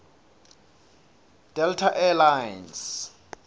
delta air lines